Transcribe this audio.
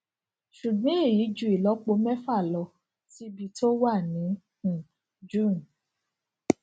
ṣùgbón èyí ju ìlópo méfà lọ síbi tó wà ní um june